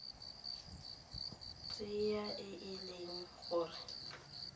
tsela e e leng gore